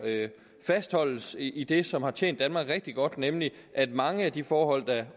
fastholdes i i det som har tjent danmark rigtig godt nemlig at mange af de forhold der